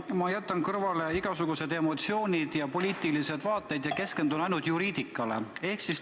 Ma jätan kõrvale igasugused emotsioonid ja poliitilised vaated ja keskendun ainult juriidikale.